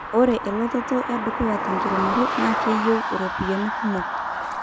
ore elototo edukuya tenkiremore naa keyieu iropiani kumok